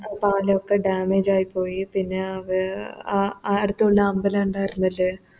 പാലൊക്കെ Damage ആയിപോയി പിന്നെ വെ അഅടുത്തുള്ള അമ്പലം തന്നെ ഉണ്ടാരുന്നില്ലേ